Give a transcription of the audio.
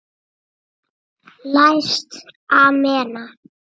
Læst amena.